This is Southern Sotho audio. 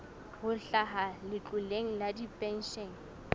ho hlaha letloleng la dipenshene